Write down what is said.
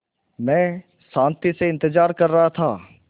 मैं शान्ति से इंतज़ार कर रहा था